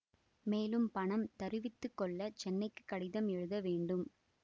மேலும் பணம் தருவித்து கொள்ள சென்னைக்கு கடிதம் எழுத வேண்டும்